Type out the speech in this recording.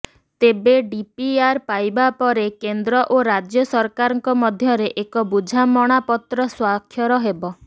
ତେବେ ଡିପିଆର୍ ପାଇବା ପରେ କେନ୍ଦ୍ର ଓ ରାଜ୍ୟ ସରକାରଙ୍କ ମଧ୍ୟରେ ଏକ ବୁଝାମଣାପତ୍ର ସ୍ୱାକ୍ଷର ହେବ